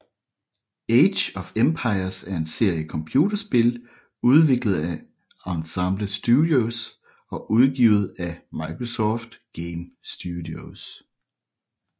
Age of Empires er en serie computerspil udviklet af Ensemble Studios og udgivet af Microsoft Game Studios